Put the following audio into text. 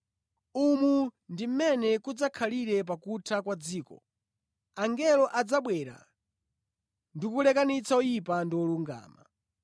Umu ndi mmene kudzakhalira pakutha kwa dziko. Angelo adzabwera ndi kulekanitsa oyipa ndi olungama.